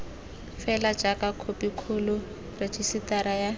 fela jaaka khopikgolo rejisetara ya